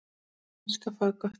Hver vill elska fagott?